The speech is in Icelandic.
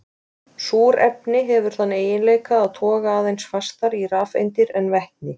Súrefni hefur þann eiginleika að toga aðeins fastar í rafeindir en vetni.